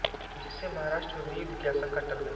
जिससे महाराष्ट्र में गृहयुद्ध की आशंका टल गई